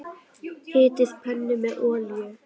Hitið pönnu með olíu.